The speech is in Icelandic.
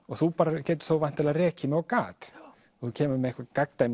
og þú bara getur þá væntanlega rekið mig á gat þú kemur með eitthvað